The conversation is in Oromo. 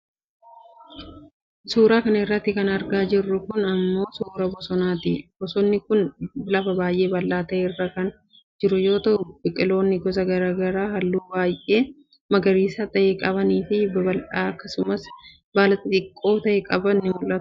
Suura kana irratti kan argaa jirru kun, suura bosonaati. Bosonni kun lafa baay'ee bal'aa ta'e irra kan jiru yoo ta'u, biqiloonni gosa garaa garaa haalluu baay'ee magariisawaa ta'e qaban fi baala babal'aa akkasumas baala xixiqqoo ta'e qaban ni mul'atu.